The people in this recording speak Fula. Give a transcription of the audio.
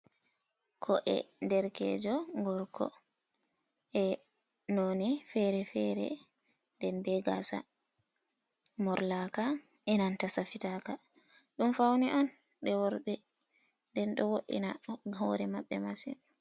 Ko'e derkejo gorko e'noni fere-fere nden be gasa morlaka e' nanta safita ka. Ɗum faune on je worbe nden ɗo wo'ina hore maɓɓe masin.